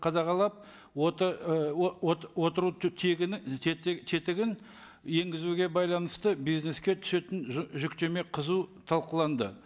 қадағалап отыру тетігін енгізуге байланысты бизнеске түсетін жүктеме қызу талқыланды